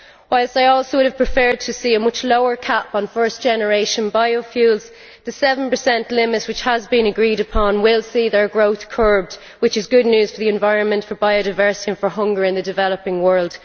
Whilst I would also have preferred to see a much lower cap on first generation biofuels, the 7 limit which has been agreed upon will see their growth curbed which is good news for the environment, for biodiversity and for hunger in the developing world.